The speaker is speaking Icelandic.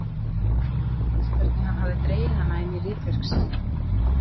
Og henni gramdist hvernig hann hafði dregið hana inn í ritverk sín.